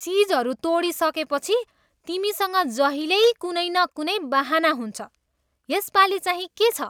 चिजहरू तोडिसकेपछि तिमीसँग जहिल्यै कुनै न कुनै बहाना हुन्छ। यसपालि चाहिँ के छ?